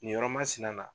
Nin yɔrɔ masina